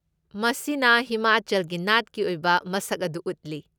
ꯃꯁꯤꯅ ꯍꯤꯃꯥꯆꯜꯒꯤ ꯅꯥꯠꯀꯤ ꯑꯣꯏꯕ ꯃꯁꯛ ꯑꯗꯨ ꯎꯠꯂꯤ꯫